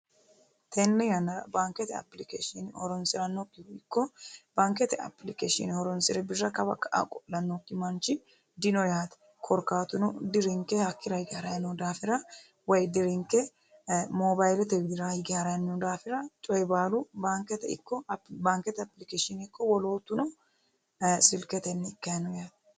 Tenne yannara Baankete applicatione horonsirannohu dino yaate korkaatuno coyi baalu silkete widira hige harayi noo daafirati yaate.